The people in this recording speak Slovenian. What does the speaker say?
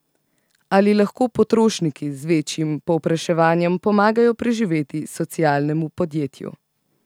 Ali lahko potrošniki z večjim povpraševanjem pomagajo preživeti socialnemu podjetju?